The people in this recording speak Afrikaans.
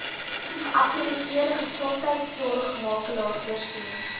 geakkrediteerde gesondheidsorgmakelaar voorsien